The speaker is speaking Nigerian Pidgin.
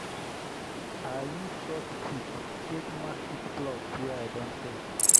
i use short stick take mark each plot wey i don check.